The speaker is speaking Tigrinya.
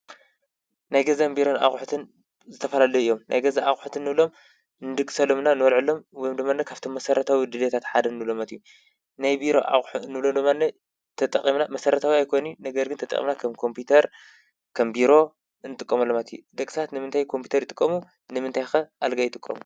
ናይ ገዛን ቢሮን ኣቑሑትን ዝተፈላለዩ እዮም፡፡ ናይ ገዛ ኣቝሕት እንብሎም ንድግሰሎምና ንወበልዐሎም ወይምድማኒ ካብቶም መሠረታዊ ድልየታት ሓደ ንብሎም እዩ፡፡ ናይ ቢሮ ኣቑሑ እንውሎ ድማኒ ተጠቒምና መሠረታዊ ኣገለግሎት ኣይኮኑይ ነገር ግን ተጠቕምና ከም ኮምፒተር ፣ከም ቢሮ እንጥቀመሎም ኣቑሑት እዩ፡፡ ደቂ ሰባት ንምንታይ ኮምፒተር ይጥቀሙ? ንምንታይ ኸ ኣልጋ ይጥቀሙ?